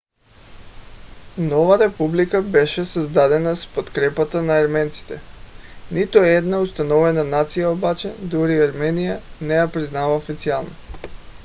нова република беше създадена с подкрепата на арменците. нито една установена нация обаче - дори армения - не я признава официално